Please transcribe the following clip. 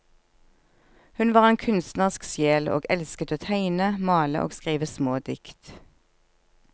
Hun var en kunstnerisk sjel, og elsket å tegne, male og skrive små dikt.